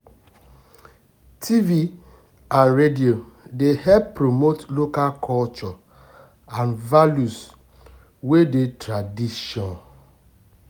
tv and radio dey help promote local culture and values wey dey tradition